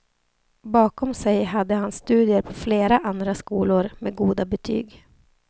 Bakom sig hade han studier på flera andra skolor med goda betyg.